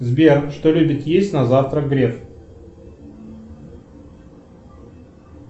сбер что любит есть на завтрак греф